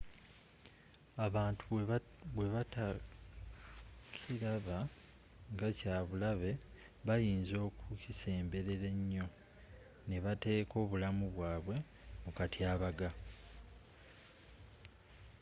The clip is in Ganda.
abantu bwe batakiraba nga kya bulabe bayinza okukisemberera ennyo n'ebateeka obulamu bwabwe mu katyabaga